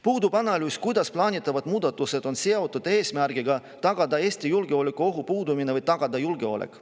Puudub analüüs, kuidas plaanitavad muudatused on seotud eesmärgiga tagada Eestis julgeolekuohu puudumine või julgeolek.